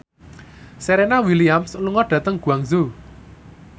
Serena Williams lunga dhateng Guangzhou